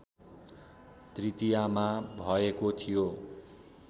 तृतीयामा भएको थियो